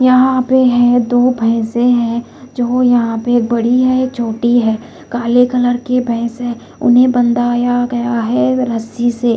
यहां पे है दो भैंसे हैं जो यहां पे बड़ी है एक छोटी है काले कलर के भैंस है उन्हें बंदाया गया है रस्सी से।